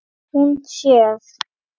Hún sér